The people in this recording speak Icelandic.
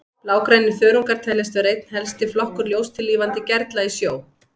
Blágrænir þörungar teljast vera einn helsti flokkur ljóstillífandi gerla í sjó.